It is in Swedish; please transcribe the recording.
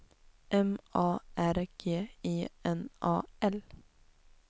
M A R G I N A L